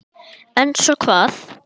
En svo hvað?